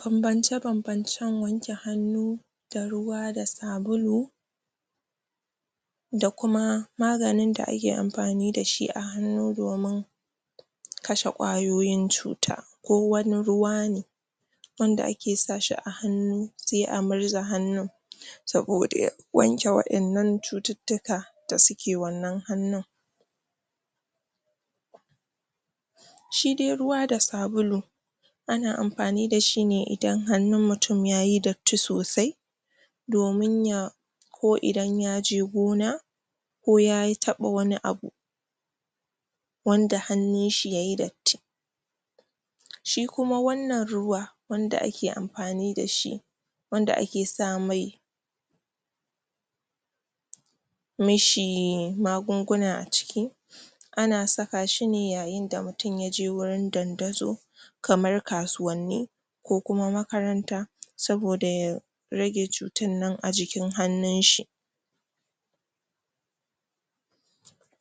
banbance banbancen wanke hannu da ruwa da sabulu da kuma maganin da ake amfani dashi a hannu domin kashe ƙayoyin cuta duk wani ruwa ne wanda ake sa shi a hannu se a murza hannun saboda wanke waɗannan cututtuka da suke wannan hannun shidai ruwa da sabulu ana amfani dashi ne idan hannu mutum yayi datti sosai domin ya ko idan yaje gona ko ya taɓa wani abu wanda hannun shi yayi datti shi kuma wannan ruwa da ake amfani dashi wanda ake sa mai mishi magunguna a ciki ana saka shine yayin da mutum yaje gurin dandazo kamar kasuwanni ko kuma makaranta saboda ya rage cutan nan a jikin hannun shi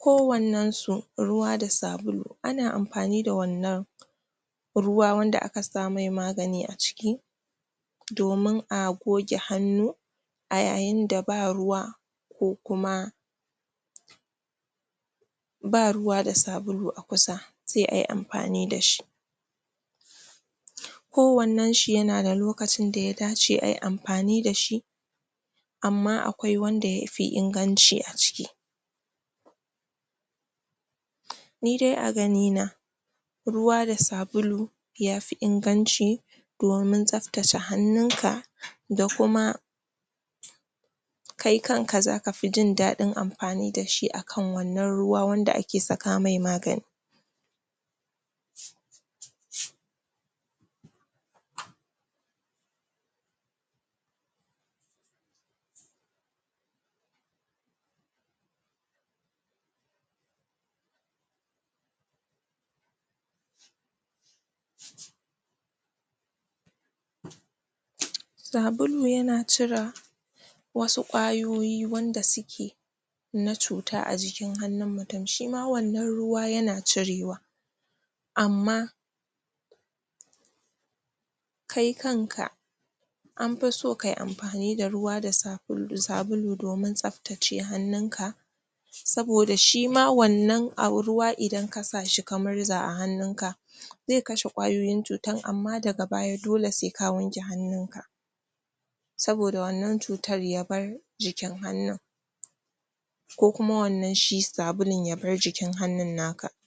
ko wannen su ruwa da sabulu ana amfani da wannan ruwa wanda aka samai magani a ciki domin a goge hannu a yayin da ba ruwa ko kuma ba ruwa da sabulu a kusa se ay amfani dashi ko wannanshi yana da lokacin daya dace ayi amfani dashi amma akwai wanda yafi inganci aciki ni dai a gani na ruwa da sabulu yafi inganci domin tsaftace hannun ka da kuma kai kanka zaka fi jin daɗin amfani dashi akan wannan ruwa wanda ake saka mai magani sabulu yana cira wasu ƙwayoyi wanda suke na cuta a jikin hannun mutum shima wannan ruwa yana cirewa amma kai kanka anfi so kayi anfan ida ruwa da sabulu um domin tsaftace hannun ka saboda shima wannan au ruwa idan kasa ka murza a hannun ka ze kashe ƙwayoyin cutan amma daga baya dole se ka wanke hannun ka saboda wannan cutar yabar jikin hannun ko kuma wannan shi sabulun yabar jikin hannun naka